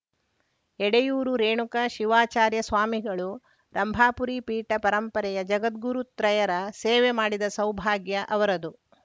ಎಡೆಯೂರು ರೇಣುಕ ಶಿವಾಚಾರ್ಯ ಸ್ವಾಮಿಗಳು ರಂಭಾಪುರಿ ಪೀಠ ಪರಂಪರೆಯ ಜಗದ್ಗುರು ತ್ರಯರ ಸೇವೆ ಮಾಡಿದ ಸೌಭಾಗ್ಯ ಅವರದು